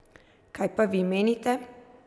Kaj pa vi menite?